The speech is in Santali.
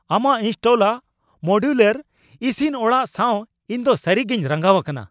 ᱟᱢᱟᱜ ᱤᱱᱥᱴᱚᱞᱟᱜ ᱢᱚᱰᱤᱭᱩᱞᱟᱨ ᱤᱥᱤᱱ ᱚᱲᱟᱜ ᱥᱟᱶ ᱤᱧ ᱫᱚ ᱥᱟᱹᱨᱤᱜᱮᱧ ᱨᱟᱸᱜᱟᱣ ᱟᱠᱟᱱᱟ ᱾